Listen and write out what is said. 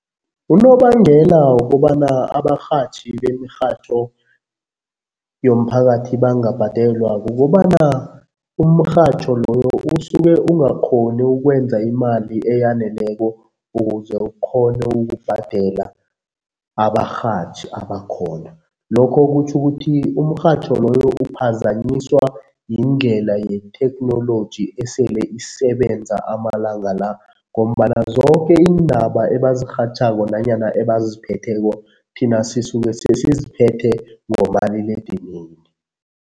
Unobangela wokobana abarhatjhi bemirhatjho yomphakathi bangabhadelwa kukobana umrhatjho loyo usuke ungakghoni ukwenza imali eyaneleko ukuze ukghone ukubhadela abarhatjhi abakhona. Lokho kutjho ukuthi umrhatjho loyo uphazanyiswa yindlela yetheknoloji esele isebenza amalanga la ngombana zoke iindaba ebazirhatjhako nanyana ebaziphetheko thina sisuke sesiziphethe ngomaliledinini.